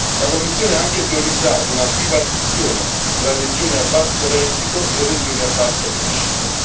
La Commissione ha anche teorizzato una bipartizione tra regioni a basso reddito e regioni a bassa crescita.